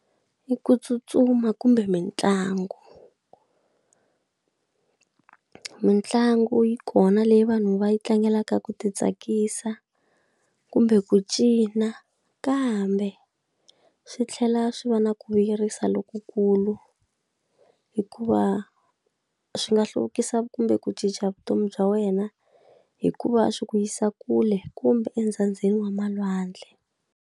I ku tsutsuma kumbe mitlangu mitlangu yi kona leyi vanhu va yi tlangelaka ku ti tsakisa, kumbe ku cina kambe swi tlhela swi va na ku vuyerisa lokukulu hikuva swi nga hluvukisa kumbe ku cinca vutomi bya wena, hi ku va swi ku yisa kule kumbe wa malwandle.